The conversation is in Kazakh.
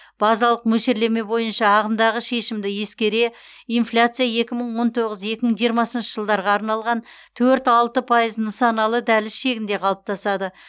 базалық мөлшерлеме бойынша ағымдағы шешімді ескере инфляция екі мың он тоғыз екі мың жиырмасыншы жылдарға арналған төрт алты пайыз нысаналы дәліз шегінде қалыптасады